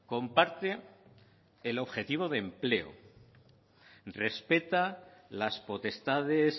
comparte el objetivo de empleo respeta las potestades